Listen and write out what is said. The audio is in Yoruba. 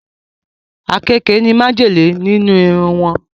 Àkekèé ní májèlé nínú iru wọn